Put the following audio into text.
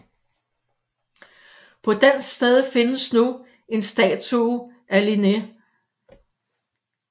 På dens sted findes nu en statue af Linné